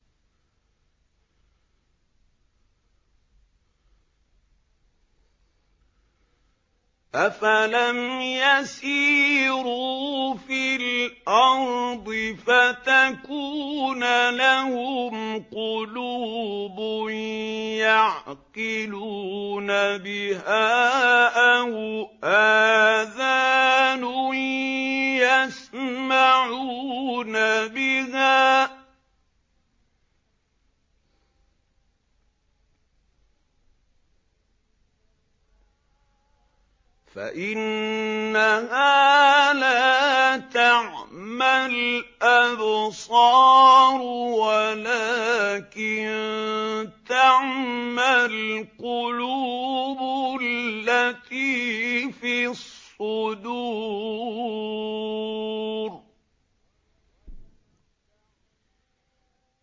أَفَلَمْ يَسِيرُوا فِي الْأَرْضِ فَتَكُونَ لَهُمْ قُلُوبٌ يَعْقِلُونَ بِهَا أَوْ آذَانٌ يَسْمَعُونَ بِهَا ۖ فَإِنَّهَا لَا تَعْمَى الْأَبْصَارُ وَلَٰكِن تَعْمَى الْقُلُوبُ الَّتِي فِي الصُّدُورِ